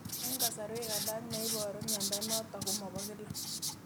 Eng' kasarwek alak neiparu miondo notok ko mapokila